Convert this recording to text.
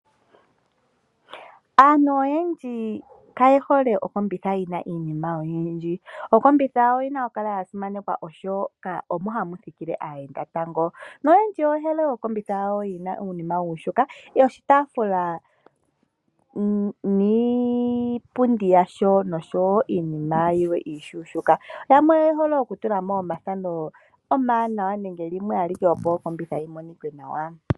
Aantu oyendji kaye hole oseti yi na iinima oyindji. Oseti oyi na okukala ya simanekwa oshoka omo hamu thikile aayenda. Noyendji oye hole oseti yi na uunima uushuushuka, oshitaafula niipundi yasho noshowo iinima yilwe iishuushuka. Yamwe oye hole okutula mo omathano omawanawa nenge limwe ashike, opo oseti yi monike nawa.